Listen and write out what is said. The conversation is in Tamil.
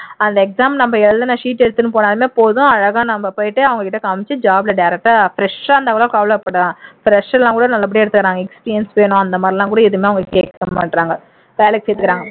அந்த exam நம்ம எழுதுன sheet எடுத்துட்டு போனாலே போதும் அழகா நம்ம போயிட்டு அவங்ககிட்ட காமிச்சு job ல direct ஆ fresh ஆ இருந்தா கூட கவலைப்படலாம் fresh எல்லாம் கூட நல்லபடியா எடுத்துக்கிறாங்க experience அந்தமாதிரி எல்லாம்கூட எதுவுமே அவங்க கேக்க மாட்டேங்கிறாங்க வேலைக்கு சேர்த்துக்கிறாங்க